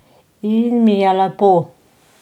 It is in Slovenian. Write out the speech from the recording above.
In mi je lepo.